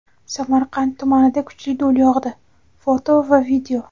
Samarqand tumanida kuchli do‘l yog‘di (foto va video).